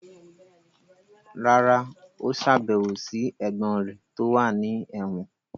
rárá, ó sàbẹ̀wò sí ẹ̀gbọ́n rẹ̀ tó wà ní ẹ̀wọ̀n.